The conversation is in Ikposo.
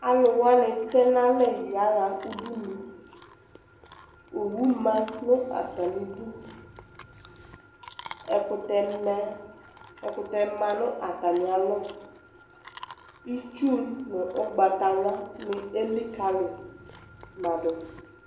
Alʋwani tɛ n'alɛ yaha udunu Owu ma nʋ atamidu, ɛkʋtɛ ma nʋ atami alɔ, itsu nʋ ʋgbatawlani elikali ma dʋ